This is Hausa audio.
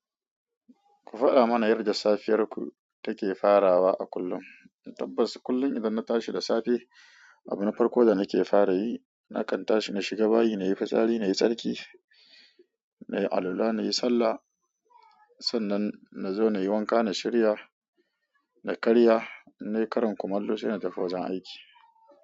Ku faɗa mana yarde safiyarku take farawa a kullum. Tabbas kullum idan na tashi da safe, abina farko da nake fara yi, nakan tashi na shiga bayi, na yi fitsari, na yi tsarki, na yi alula, na yi sallah. Sannan na zo na yi wanka, na shirya, na karya, na yi karan kumallo sai na tafi wajen aiki.